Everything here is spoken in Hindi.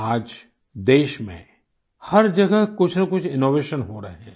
आज देश में हर जगह कुछ न कुछ इनोवेशन हो रहे हैं